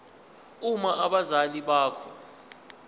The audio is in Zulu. uma abazali bakho